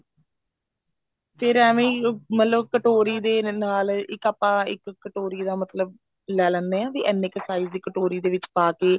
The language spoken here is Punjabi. ਫ਼ੇਰ ਏਵੇਂ ਹੀ ਮਤਲਬ ਕਟੋਰੀ ਦੇ ਨਾਲ ਇੱਕ ਆਪਾਂ ਇੱਕ ਕਟੋਰੀ ਦਾ ਮਤਲਬ ਲੈ ਲੈਣੇ ਹਾਂ ਵੀ ਇੰਨੇ ਕੁ size ਦੀ ਕਟੋਰੀ ਦੇ ਵਿੱਚ ਪਾਕੇ